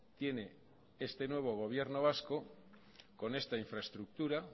tiene este nuevo gobierno vasco con esta infraestructura